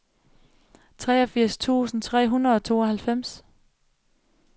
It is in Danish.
treogfirs tusind tre hundrede og tooghalvfems